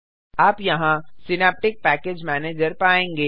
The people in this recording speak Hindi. आप यहाँ सिनैप्टिक पैकेज मैनेजर पायेंगे